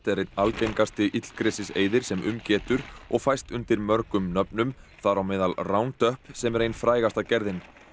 er einn algengasti illgresiseyðir sem um getur og fæst undir mörgum nöfnum þar á meðal sem er ein frægasta gerðin